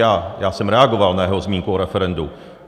Já jsem reagoval na jeho zmínku o referendu.